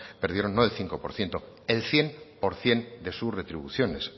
perdieron no de cinco por ciento el cien por ciento de su retribuciones